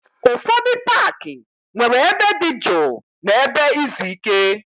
Ụfọdụ paaki nwere ebe dị jụụ na ebe izu ike.